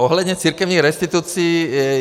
Ohledně církevních restitucí.